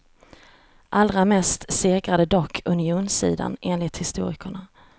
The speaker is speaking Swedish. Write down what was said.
Allra mest segrade dock unionssidan, enligt historikerna.